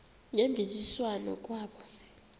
ngemvisiswano r kwabo